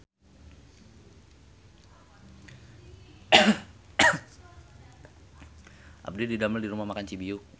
Abdi didamel di Rumah Makan Cibiuk